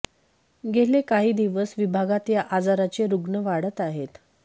गेले काही दिवस विभागात या आजाराचे रुग्ण वाढत आहेत